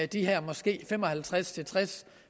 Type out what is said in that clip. de her måske fem og halvtreds til tres